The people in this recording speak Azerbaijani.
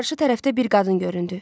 Qarşı tərəfdə bir qadın göründü.